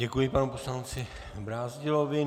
Děkuji panu poslanci Brázdilovi.